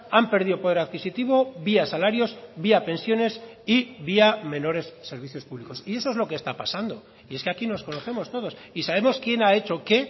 han perdido poder adquisitivo vía salarios vía pensiones y vía menores servicios públicos y eso es lo que está pasando y es que aquí nos conocemos todos y sabemos quién ha hecho qué